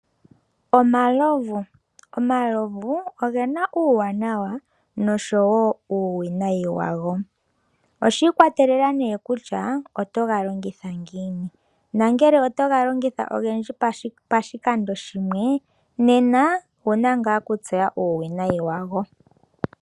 Omalovu Omalovu oge na uuwanawa noshowo uuwinayi wago. Oshi ikwatelela nduno kutya otoga longitha ngiini. Ngele otoga longitha ogendji pashikando shimwe nena owu na ngaa okutseya uuwinayi wago.